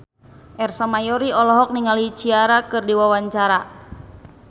Ersa Mayori olohok ningali Ciara keur diwawancara